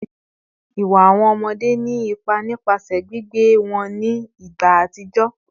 Iwa awọn ọmọde ni ipa nipasẹ gbigbe wọn ni igba atijọ